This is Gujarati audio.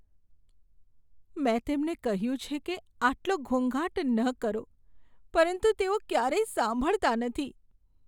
મેં તેમને કહ્યું છે કે આટલો ઘોંઘાટ ન કરો, પરંતુ તેઓ ક્યારેય સાંભળતા નથી.